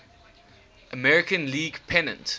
american league pennant